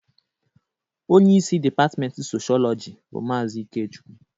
Onye isi dipatmenti Soshọọlọjị bụ Maazị Ikechukwu.